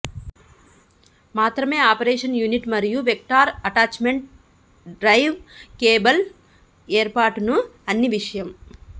మాత్రమే operation unit మరియు vector attachment drive cable ఏర్పాటును అన్ని విషయం